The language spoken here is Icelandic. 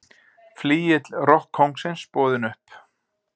Flygill rokkkóngsins boðinn upp